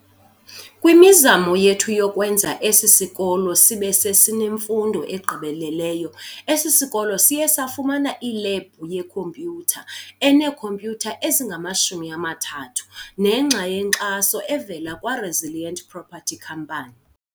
Kwimizamo yethu yokwenza esi sikolo sibesesinemfundo egqibeleleyo, esi sikolo siye safumana ilebhu yeKhompyutha eneekhompyutha ezingama-30, nengxa yenkxaso evela kwa-Resilient Property company.